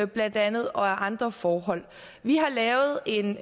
blandt andet og af andre forhold vi har lavet en